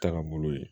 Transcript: Taga bolo ye